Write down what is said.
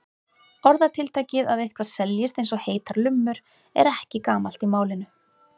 Orðatiltækið að eitthvað seljist eins og heitar lummur er ekki gamalt í málinu.